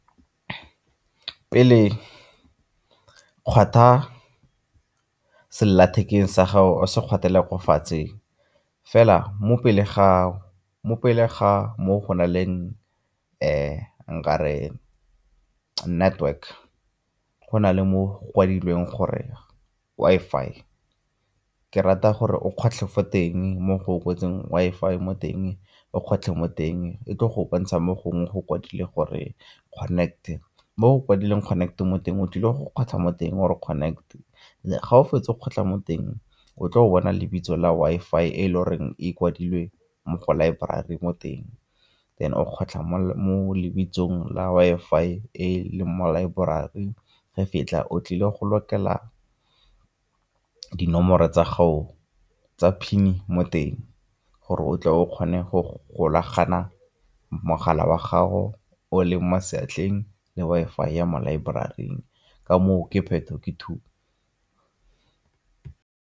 Pele kgwatha sellathekeng sa gago se kgwathele kwa fatshe fela mo pele ga mo go na leng nka re network, go na le mo go kwadilweng gore Wi-Fi. Ke rata gore o kgotlhe fo teng mo go kwetsweng Wi-Fi mo teng, o kgotlhe mo teng e tlo go bontsha mo gongwe go kwadilwe gore connect, mo go kwadileng connect mo teng o tlile go kgotlha mo teng o re connect, ga o fetsa go kgotla mo teng o tlo go bona lebitso la Wi-Fi e le goreng e kwadilwe mo go laeborari mo teng. Then o kgotlha mo lebitsong la Wi-Fi mo laeborari ge o tlile go lokela dinomoro tsa gago tsa pin mo teng gore o tle o kgone go golagana mogala wa gago o leng mo seatleng le Wi-Fi ya mo laeboraring ka moo ke phetho ke tu.